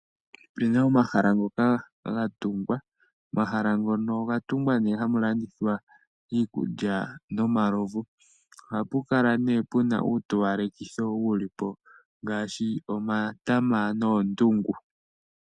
Opu na omahala ngoka ga tungwa omahala ngono onga tungwa ne hamu landithwa iikulya nomalovu. Oha pu kala nee pu na uutowalekithi wu li po ngaashi omatama noondungu.